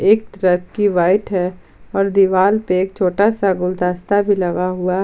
एक वाइट है और दीवार पे एक छोटा सा गुलदस्ता भी लगा हुआ--